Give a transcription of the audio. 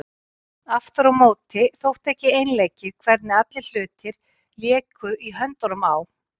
Aftur á móti þótti ekki einleikið hvernig allir hlutir léku í höndunum á